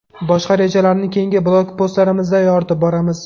Boshqa rejalarni keyingi blogpostlarimizda yoritib boramiz.